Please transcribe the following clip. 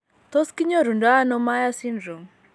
Tos kinyoru ndo ano Myhre syndrome ?